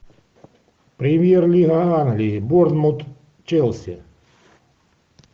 премьер лига англии борнмут челси